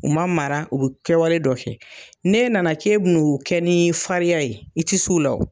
U ma mara u bɛ kɛwale dɔ kɛ, ne nana k'e bɛ n'o kɛ ni fariya ye i tɛ se u law.